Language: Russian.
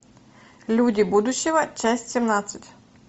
люди будущего часть семнадцать